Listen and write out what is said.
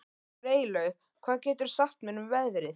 Freylaug, hvað geturðu sagt mér um veðrið?